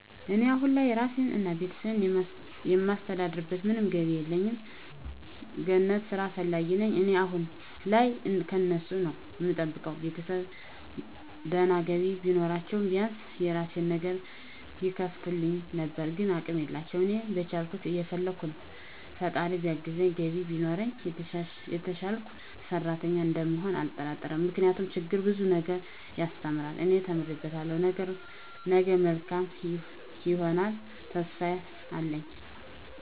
እኔ አሁን ላይ ራሴን እና ቤተሰቤን የማስተዳድርበት ምንም ገቢ የለኝም። ገነት ስራ ፈላጊ ነኝ እኔ አሁን ላይ ከነሱ ነዉ እምጠብቀው፣ ቤተሰብ ድና ገቢ ቢኖራችዉ ቢያንስ የራሴን ነገር ይከፍቱልኝ ነበር ግን አቅም የላቸውም። እኔም በቻልኩት እየፈለከ ነው ፈጣራ ቢያግዘኝ ገቢ ቢኖረኝ የተሸሸልኩ ሰሪተኛ እንደምሆን አልጠራጠርም ምክንያቱም ችግር ብዙ ነገር ያሰተምራል እኔ ተምሬበታለሁ ነገ መልካም ይሆነልተሰፊፋ አለኝ።